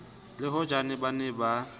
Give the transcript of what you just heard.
le hojane ba ne ba